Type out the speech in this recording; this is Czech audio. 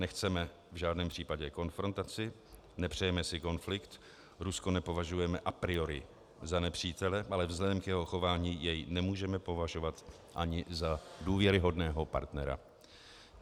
Nechceme v žádném případě konfrontaci, nepřejeme si konflikt, Rusko nepovažujeme a priori za nepřítele, ale vzhledem k jeho chování jej nemůžeme považovat ani za důvěryhodného partnera.